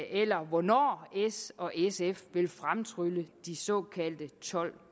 eller hvornår s og sf vil fremtrylle de såkaldte tolv